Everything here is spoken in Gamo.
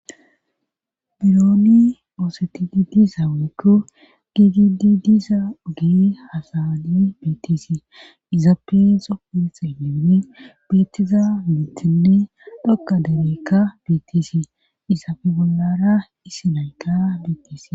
Birooni oosetidi diza ogekko giigidi diiza gee hasadi beetisi iza peexo pin xiliine bettiza mittinne dhokka dembeykka beettisi izape bollara isinayka bettes.